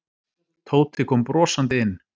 Tóti kom brosandi inn.